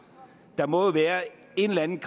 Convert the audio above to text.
der må jo være en eller anden